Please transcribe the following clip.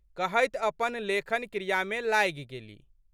कहैत अपन लेखन क्रियामे लागि गेलि।